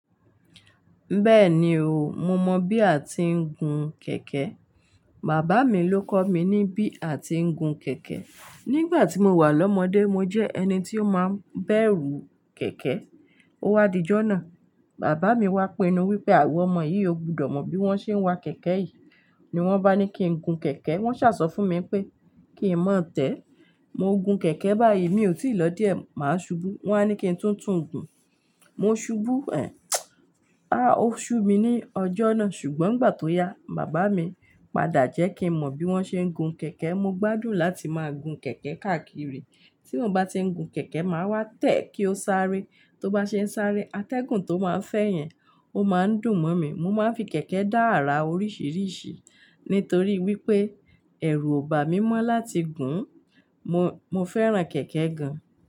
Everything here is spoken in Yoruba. Bẹ́ẹ̀ni o, mo mọ bí a ti ń gun kẹ̀kẹ́. Bàbá mi ló kọ́ mi ní bí a ti ń gun kẹ̀kẹ́. Nígbà tí mo wà lọ́mọdé, mo jẹ́ ẹni tí ó máa ń bẹ̀rù kẹ̀kẹ́. Ó wá díjọ́ náà, bàbá mi wá pinu wípé iwo ọmọ yìí ò gbudọ̀ mọ bí wón ṣe ń wa kẹ̀kẹ́ yìí. Ni wón bá ní kí n gun kẹ̀kẹ́, wón ṣàsọ fún mi pé kí n má tẹ̀. Mo gun kẹ̀kẹ́ báyìí mi ò tí ì lọ díẹ̀, màá ṣubú. Wọ́n á ní kí n tún tún gun. Mo ṣubú ẹ, áá o ṣu mi ní ọjọ́ náà. Ṣùgbọ́n ngbà tó yá, bàbá mi padà jẹ́ kí n mọ bí wón ṣe ń gun kẹ̀kẹ́. Mo gbádùn láti máa gun kẹ̀kẹ́ káàkiri. Tí mo bá ti ń gun kẹ̀kẹ́, màá wá tẹ̀ kí ó sáré. Tó bá ṣe ń sáré, atẹ́gùn tó máa ń fẹ́ yẹn, ó máa ń dùn mọ́ mi. Mo máa ń fi kẹ̀kẹ́ dá àrà oríṣìíríṣìí nítorí wípé ẹ̀rù ò bá mi mọ́ láti gùn ún. Mo, mo fẹ́ràn kẹ̀kẹ́ gan.